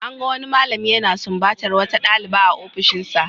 An gan wani malami yana sumbatar wata dalibi a ofishinsa.